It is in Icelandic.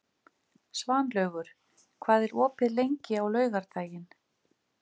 Svanlaugur, hvað er opið lengi á laugardaginn?